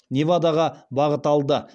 невадаға бағыт алды